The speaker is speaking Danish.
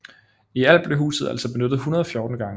I alt blev huset altså benyttet 114 gange